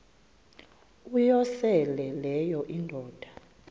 uyosele leyo indoda